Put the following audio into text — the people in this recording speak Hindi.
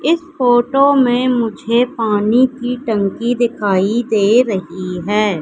इस फोटो में मुझे पानी की टंकी दिखाई दे रही हैं।